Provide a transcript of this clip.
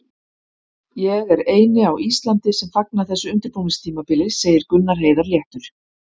Ég er eini á Íslandi sem fagna þessu undirbúningstímabili, segir Gunnar Heiðar léttur.